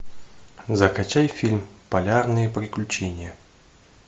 закачай фильм полярные приключения